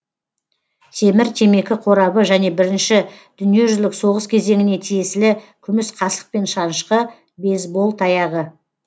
темір темекі қорабы және бірінші дүниежүзілік соғыс кезеңіне тиесілі күміс қасық пен шанышқы бейсбол таяғы